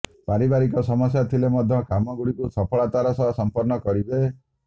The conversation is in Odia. ପାରିବାରିକ ସମସ୍ୟା ଥିଲେ ମଧ୍ୟ କାମଗୁଡ଼ିକୁ ସଫଳତାର ସହ ସମ୍ପନ୍ନ କରିବେ